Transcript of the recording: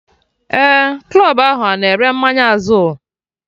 Ee, club ahụ na ere mmanya Azul